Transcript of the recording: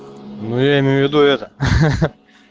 ну я имею в виду это ха-ха